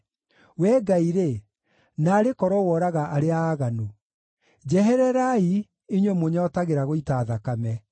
Wee Ngai-rĩ, naarĩ korwo woraga arĩa aaganu! Njehererai, inyuĩ mũnyootagĩra gũita thakame!